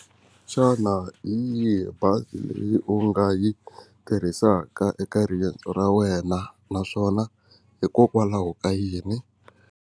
Xana hi yihi bazi leyi u nga yi tirhisaka eka riendzo ra wena naswona hikokwalaho ka yini?